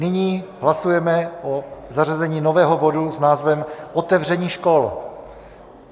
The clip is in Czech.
Nyní hlasujeme o zařazení nového bodu s názvem otevření škol.